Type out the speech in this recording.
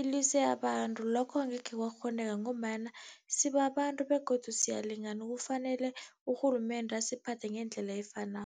ilwise abantu, lokho angekhe kwakghoneka ngombana sibabantu begodu siyalingana, kufanele urhulumende asiphathe ngendlela efanako.